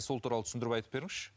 сол туралы түсіндіріп айтып беріңізші